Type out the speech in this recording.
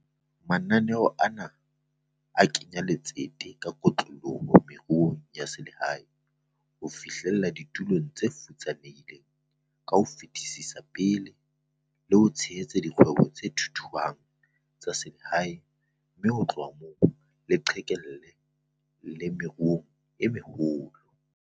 Mananeo ana a kenya letsete ka kotloloho ho meruo ya selehae, ho fihlella ditulo tse futsanehileng ka ho fetisetsa pele, le ho tshehetsa dikgwebo tse thuthuhang tsa selehae mme ho tloha moo e qhekelle le meruong e meholo.